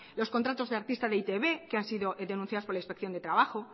los contratos de artistas de e i te be que han sido denunciados por la inspección de trabajo